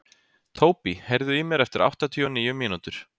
Tóbý, heyrðu í mér eftir áttatíu og níu mínútur.